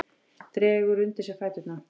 Dregur undir sig fæturna.